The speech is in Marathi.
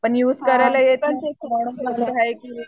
पण युज करायला येत नाही